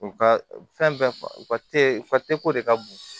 U ka fɛn fɛn u ka u ko de ka bon